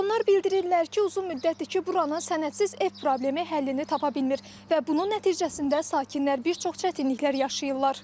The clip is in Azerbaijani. Onlar bildirirlər ki, uzun müddətdir ki, buranın sənədsiz ev problemi həllini tapa bilmir və bunun nəticəsində sakinlər bir çox çətinliklər yaşayırlar.